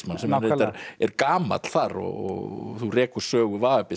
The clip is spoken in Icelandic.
sem reyndar er gamall þar og þú rekur sögu